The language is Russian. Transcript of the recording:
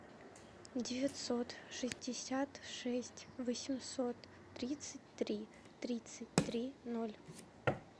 девятьсот шестьдесят шесть восемьсот тридцать три тридцать три ноль